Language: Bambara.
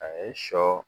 A ye sɔ